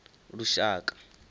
lushaka